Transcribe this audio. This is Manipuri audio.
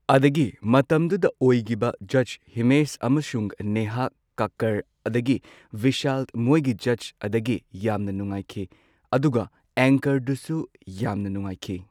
ꯑꯃꯁꯨꯡ ꯃꯇꯝꯗꯨꯗ ꯑꯣꯏꯒꯤꯕ ꯖꯁ ꯍꯤꯃꯦꯁ ꯑꯗꯒꯤ ꯅꯦꯍꯥ ꯀꯀꯔ ꯑꯗꯒꯤ ꯕꯤꯁꯥꯜ ꯃꯣꯏꯒꯤ ꯖꯁ ꯑꯗꯒꯤ ꯌꯥꯝꯅ ꯅꯨꯉꯥꯏꯈꯤ ꯑꯗꯨꯒ ꯑꯦꯡꯀꯔ ꯗꯨꯁꯨ ꯌꯥꯝꯅ ꯅꯨꯉꯥꯏꯈꯤ꯫